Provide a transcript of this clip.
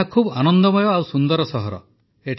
ଏହା ବହୁତ ଆନନ୍ଦମୟ ଆଉ ସୁନ୍ଦର ସହର ଅଟେ